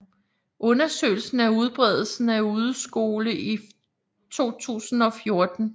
Undersøgelse af udbredelsen af udeskole i 2014